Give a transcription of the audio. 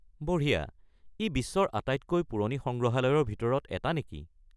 বঢ়িয়া! ই বিশ্বৰ আটাইতকৈ পুৰণি সংগ্ৰহালয়ৰ ভিতৰত এটা নেকি?